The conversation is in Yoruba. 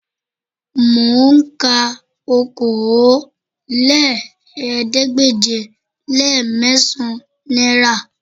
Mò ń ka okòólélẹ́ẹ̀ẹ́dégbèje-le-mẹ́sàn-án náírà